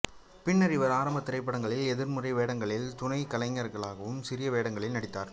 பின்னர் இவர் ஆரம்பத் திரைப்படங்களில் எதிர்மறை வேடங்களிலும் துணைக் கலைஞராகவும் சிறிய வேடங்களில் நடித்தார்